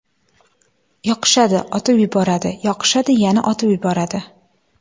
Yoqishadi, otib yuboradi; yoqishadi, yana otib yuboradi.